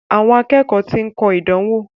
Àwọn akẹ́kọ̀ọ́ ti ń kọ ìdánwò.